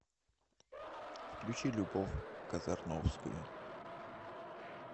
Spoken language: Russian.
включи любовь казарновскую